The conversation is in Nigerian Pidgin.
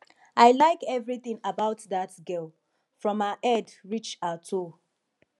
i like everything about dat girl from her head reach her toe